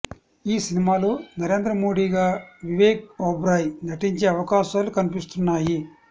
ఈ సినిమాలో నరేంద్ర మోడీగా వివేక్ ఒబెరాయ్ నటించే అవకాశాలు కనిపిస్తున్నాయి